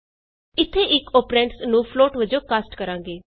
ਇਥੇ ਇਕ ਅੋਪਰੈਂਡਸ ਨੂੰ ਫਲੋਟ ਵਜੋਂ ਕਾਸਟ ਕਰਾਂਗੇ